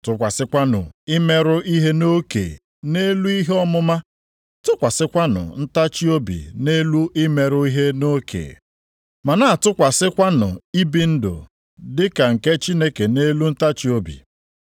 tụkwasịkwanụ imerụ ihe nʼoke nʼelu ihe ọmụma, tụkwasịkwanụ ntachiobi nʼelu imerụ ihe na oke, ma na-atụkwasịkwanụ ibi ndụ dị ka ndị Chineke nʼelu ntachiobi.